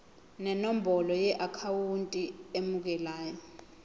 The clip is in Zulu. nenombolo yeakhawunti emukelayo